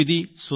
తొమ్మిది